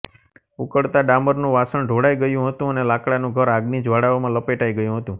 ઉકળતા ડામરનું વાસણ ઢોળાઈ ગયું હતું અને લાકડાનું ઘર આગની જ્વાળાઓમાં લપેટાઈ ગયું હતું